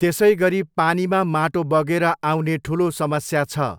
त्यसैगरी पानीमा माटो बगेर आउने ठुलो समस्या छ।